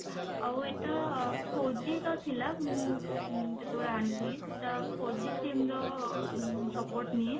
ଆଉ ଏଇଟା four G ର ଥିଲା ମୁଁ ଯେତେବେଳେ ଆଣିଥିଲି ସେଟା four G sim ର support ନିଏ।